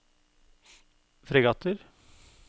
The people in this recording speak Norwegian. fregatter